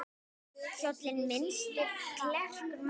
Kjólinn missti klerkur mæddur.